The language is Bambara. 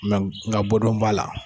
Nga nga bɔ dɔn b'a la,